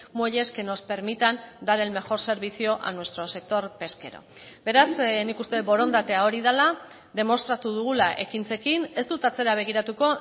muelles que nos permitan dar el mejor servicio a nuestro sector pesquero beraz nik uste dut borondatea hori dela demostratu dugula ekintzekin ez dut atzera begiratuko